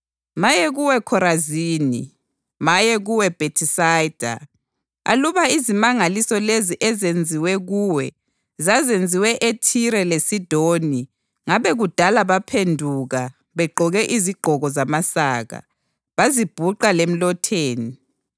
“Maye kuwe Khorazini! Maye kuwe Bhethisayida! Aluba izimangaliso lezo ezenziwa kuwe zazenziwe eThire leSidoni, ngabe kudala baphenduka begqoke izigqoko zamasaka, bazibhuqa lemlotheni.